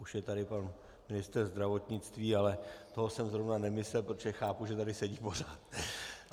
Už je tady pan ministr zdravotnictví, ale toho jsem zrovna nemyslel, protože chápu, že tady sedí pořád.